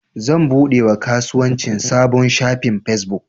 Zan buɗe wa kasuwanci sabon shafin fesbuk.